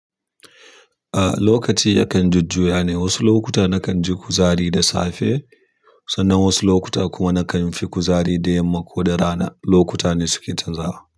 A lokaci ya kan jujjuya ne. Wasu lokuta na kanji kuzari da safe sannan wasu lokuta kuma na kanfi kuzari da yamma koda rana, lokuta ne suke canzawa.